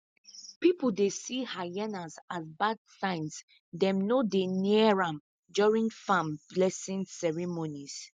people dey see hyenas as bad signs dem no dey near am during farm blessing ceremonies